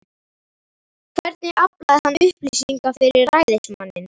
Hvernig aflaði hann upplýsinga fyrir ræðismanninn?